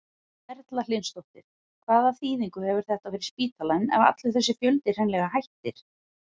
Erla Hlynsdóttir: Hvaða þýðingu hefur þetta fyrir spítalann ef allur þessi fjöldi hreinlega hættir?